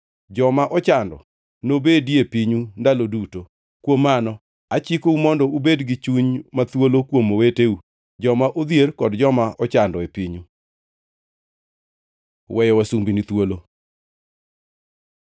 Joma ochando nobedie e pinyu ndalo duto. Kuom mano achikou mondo ubed gi chuny ma thuolo kuom oweteu, joma odhier kod joma ochando e pinyu. Weyo wasumbini thuolo